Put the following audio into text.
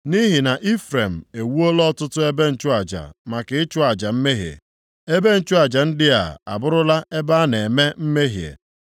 “Nʼihi na Ifrem ewuola ọtụtụ ebe nchụaja maka ịchụ aja mmehie, ebe nchụaja ndị a abụrụla ebe a na-eme mmehie.